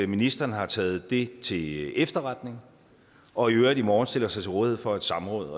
ministeren har taget det til efterretning og i øvrigt i morgen stiller sig til rådighed for et samråd